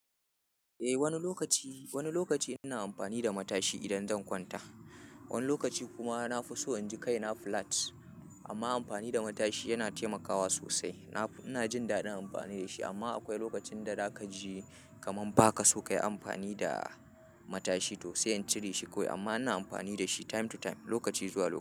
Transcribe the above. Eh wani lokaci, wani lokaci ina amfani da matashi idan zan kwanta. Wani lokaci kuma na fi so in ji kai na flat amma amfani da matashi yana taimakawa sosai. Na fi-- ina jin daɗin amfani da shi amma akwai lokacin da za ka ji kaman ba ka so kayi amfani da, matashi to sai in cire shi kawai amma ina amfani da shi time to time, lokaci zuwa lokaci.